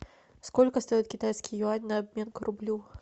сколько стоит китайский юань на обмен к рублю